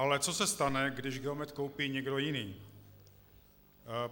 Ale co se stane, když Geomet koupí někdo jiný?